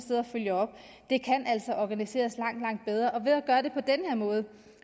følger op det kan altså organiseres langt langt bedre og ved at gøre det på den her måde